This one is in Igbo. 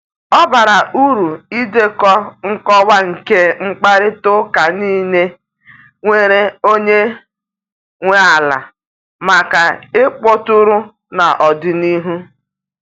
Ọ bara uru idekọ nkọwa nke mkparịta ụka niile nwere onye nwe ala maka ịkpọtụrụ n’ọdịnihu.